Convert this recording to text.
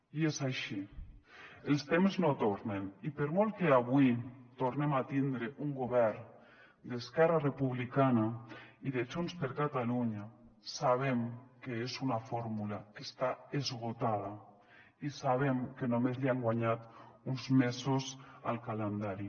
i és així els temps no tornen i per molt que avui tornem a tindre un govern d’esquerra republicana i de junts per catalunya sabem que és una fórmula que està esgotada i sabem que només han guanyat uns mesos al calendari